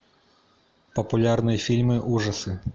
популярные фильмы ужасы